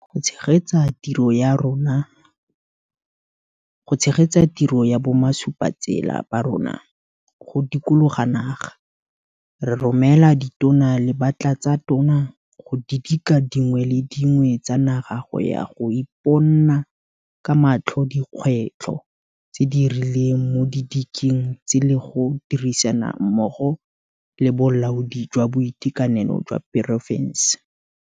Go tshegetsa tiro ya bomasupatsela ba rona go dikologa naga, re romela Ditona le Batlatsatona go didika dingwe le dingwe tsa naga go ya go iponna ka matlho dikgwetlho tse di rileng mo didikeng tse le go dirisana mmogo le bolaodi jwa boitekanelo jwa porofense.